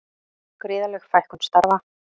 Gríðarleg fækkun starfa